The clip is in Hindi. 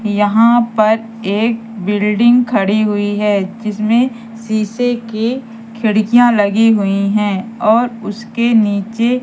यहां पर एक बिल्डिंग खड़ी हुईं हैं जिसमें शीशे के खिड़कियां लगी हुई हैं और उसके नीचे--